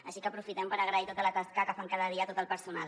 així que aprofitem per agrair tota la tasca que fan cada dia a tot el personal